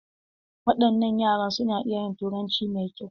Wadannan yaran su na iya yin turanci mai kyau.